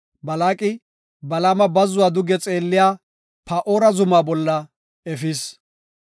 Balaaqi Balaama bazzuwa duge xeelliya Paa7ora zuma bolla efis.